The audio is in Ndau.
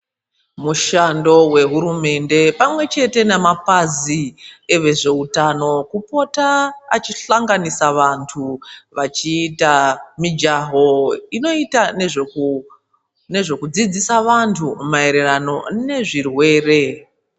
Mushando wehuremende pamwechete nemapazi evezveutano kupota achihlanganisa vanhu vachiita mijaho inoita nezvekudzidzisa vanhu maererano nezvirwere.